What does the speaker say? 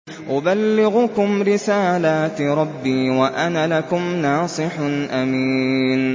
أُبَلِّغُكُمْ رِسَالَاتِ رَبِّي وَأَنَا لَكُمْ نَاصِحٌ أَمِينٌ